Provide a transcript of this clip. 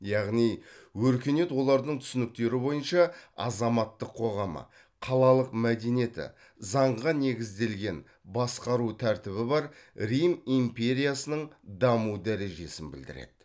яғни өркениет олардың түсініктері бойынша азаматтық қоғамы қалалық мәдениеті заңға негізделген басқару тәртібі бар рим империясының даму дәрежесін білдіреді